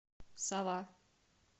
сова